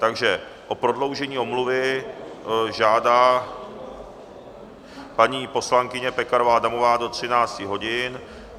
Takže o prodloužení omluvy žádá paní poslankyně Pekarová Adamová do 13 hodin.